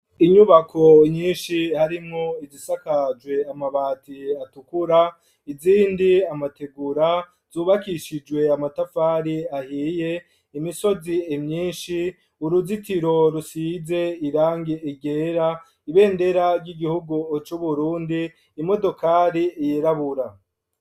Inyubako nyinshi harimwo izisakajwe amabati atukura ,izindi amategura zubakishijwe amatafari ahiye, imisozi imyinshi, uruzitiro rusize irangi ryera, ibendera ry'igihugu c'Uburundi, imodokari yirabura.